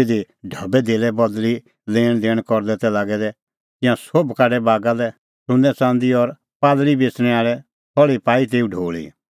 तिधी ढबैधेल्लै बदल़ी लैणदैण करदै तै लागै दै तिंयां सोभ काढै बागा लै सुन्नैंच़ंदी और कबूतरा बेच़णैं आल़े थल़्ही पाई तेऊ ढोल़ी